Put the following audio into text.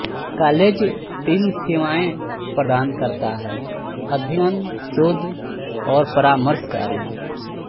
college तीन सेवाएं प्रदान करता है अध्ययन शोध और परामर्श कार्य